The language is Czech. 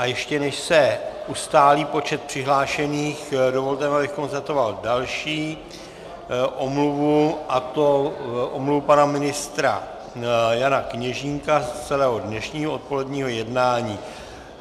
A ještě než se ustálí počet přihlášených, dovolte mi, abych konstatoval další omluvu, a to omluvu pana ministra Jana Kněžínka z celého dnešního odpoledního jednání.